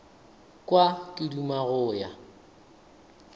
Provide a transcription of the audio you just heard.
kwa ke duma go ya